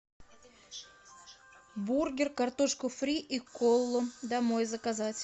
бургер картошку фри и колу домой заказать